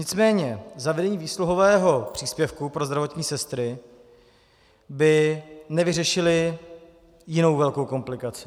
Nicméně zavedení výsluhového příspěvku pro zdravotní sestry by nevyřešilo jinou velkou komplikaci.